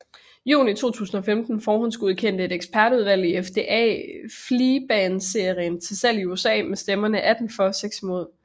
Juni 2015 forhåndsgodkendte et ekspertudvalg i FDA Flibanserin til salg i USA med stemmerne 18 for og 6 imod